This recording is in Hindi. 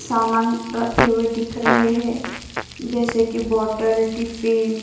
सामान रखे हुए दिख रहे हैं जैसे कि बोटल टिफ़िन --